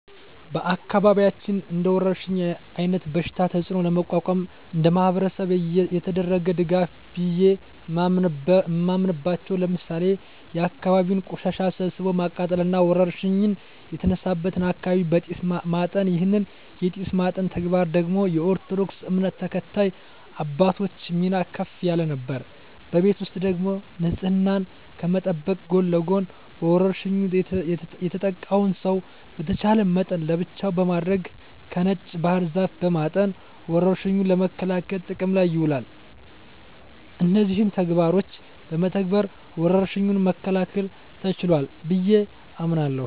በአካባቢያችን እንደወረርሽኝ አይነት በሽታ ተጽኖ ለመቋቋም እንደማህበረሰብ የተደረገ ድጋፍ ቢየ ማምናበቻው ለምሳሌ የአካባቢን ቆሻሻ ሰብስቦ ማቃጠል እና ወረርሽኝ የተነሳበትን አካባቢ በጢስ ማጠን ይህን የጢስ ማጠን ተግባር ደግሞ የኦርቶዶክስ እምነት ተከታይ አባቶች ሚና ከፍ ያለ ነበር። በቤት ውስጥ ደግሞ ንጽህናን ከመጠበቅ ጎን ለጎን በወርሽኙ የተጠቃውን ሰው በተቻለ መጠን ለብቻው በማድረግ በነጭ ባህር ዛፍ በማጠን ወረርሽኙን ለመከላከል ጥቅም ላይ ውሏል። እነዚህን ተግባሮች በመተግበር ወረርሽኙን መከላከል ተችሏል ብየ አምናለሁ።